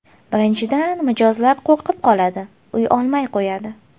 Birinchidan, mijozlar qo‘rqib qoladi, uy olmay qo‘yadi.